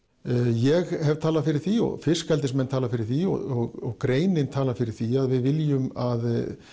ég hef talað fyrir því og fiskeldismenn tala fyrir því og greinin talað fyrir því að við viljum að